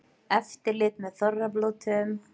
Eftirlit með þorrablótum